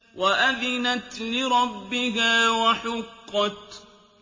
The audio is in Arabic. وَأَذِنَتْ لِرَبِّهَا وَحُقَّتْ